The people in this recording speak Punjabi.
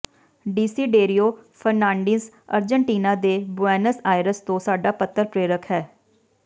ਡਿਸੀਡੇਰੀਓ ਫਰਨਾਂਡੀਜ਼ ਅਰਜਨਟੀਨਾ ਦੇ ਬੁਏਨਸ ਆਇਰਸ ਤੋਂ ਸਾਡਾ ਪੱਤਰ ਪ੍ਰੇਰਕ ਹੈ